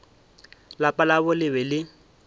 lapa labo le be le